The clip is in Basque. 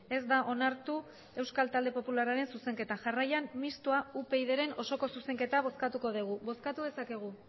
ez da onartu euskal talde popularraren zuzenketa jarraian mistoa upydren osoko zuzenketa bozkatuko dugu bozkatu dezakegu